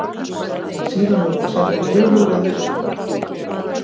Síðan var hann settur niður við veisluborð.